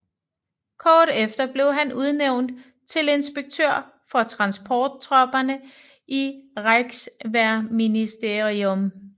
Kort efter blev han udnævnt til inspektør for transporttropperne i Reichswehrministerium